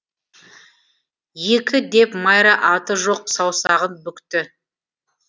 екі деп майра аты жоқ саусағын бүкті